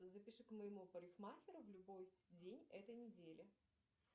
запиши к моему парикмахеру в любой день этой недели